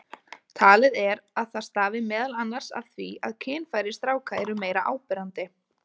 Talið er að það stafi meðal annars af því að kynfæri stráka eru meira áberandi.